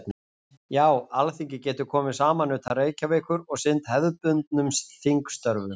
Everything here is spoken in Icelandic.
Já, Alþingi getur komið saman utan Reykjavíkur og sinnt hefðbundnum þingstörfum.